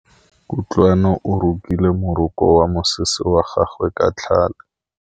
Kutlwanô o rokile morokô wa mosese wa gagwe ka tlhale.